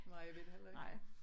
Nej jeg ved det heller ikke